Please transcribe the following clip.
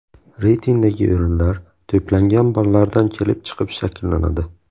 Reytingdagi o‘rinlar to‘plangan ballardan kelib chiqib shakllanadi.